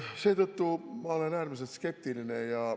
Seetõttu olen ma äärmiselt skeptiline.